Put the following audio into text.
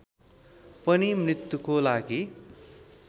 पनि मृत्युको लागि